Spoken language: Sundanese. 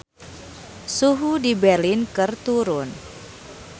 Suhu di Berlin keur turun